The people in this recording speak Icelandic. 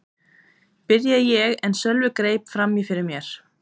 byrjaði ég en Sölvi greip fram í fyrir mér.